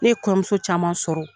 Ne ye kɔɲɔmuso caman sɔrɔ.